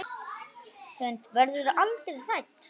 Hrund: Verðurðu aldrei hrædd?